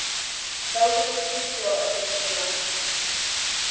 да уже почти всё ответил я